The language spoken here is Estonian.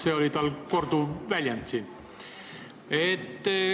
See oli tal siin korduv väljend.